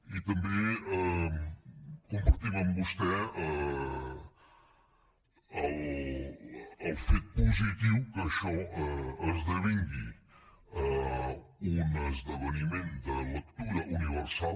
i també compartim amb vostè el fet positiu que això esdevingui un esdeveniment de lectura universal